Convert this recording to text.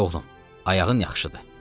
İndi oğlum, ayağın yaxşıdır.